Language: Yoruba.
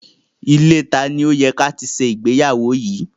Ilée tani ó ti yẹ ká ṣe ìgbéyàwó yìí?